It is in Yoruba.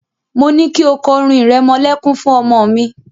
Mo ní kí o kọ orin ìrẹmọlẹ́kún fún ọmọ mi.